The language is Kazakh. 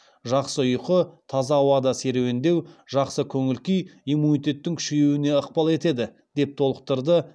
жақсы ұйқы таза ауада серуендеу жақсы көңіл күй иммунитеттің күшеюіне ықпал етеді деп толықтырды